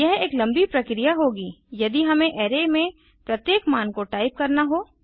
यह एक लम्बी प्रक्रिया होगी यदि हमें अराय में प्रत्येक मान को टाइप करना हो